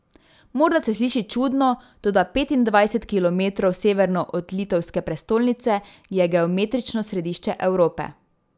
Morda se sliši čudno, toda petindvajset kilometrov severno od litovske prestolnice je geometrično središče Evrope!